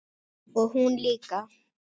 Og hún líka.